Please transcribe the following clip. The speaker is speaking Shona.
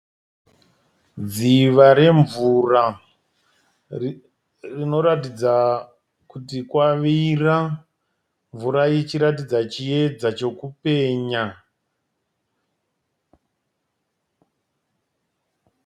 Dziva remvura rinoratidza kuti kwavira. Mvura ichiratidza chiedza chokupenya.